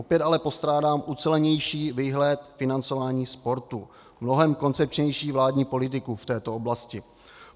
Opět ale postrádám ucelenější výhled financování sportu, mnohem koncepčnější vládní politiku v této oblasti.